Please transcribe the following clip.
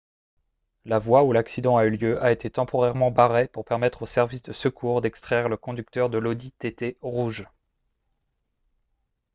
la voie où l'accident a eu lieu a été temporairement barrée pour permettre aux services de secours d'extraire le conducteur de l'audi tt rouge